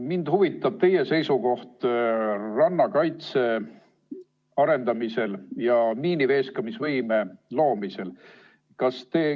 Mind huvitab teie seisukoht rannakaitse arendamise ja miiniveeskamisvõime loomise kohta.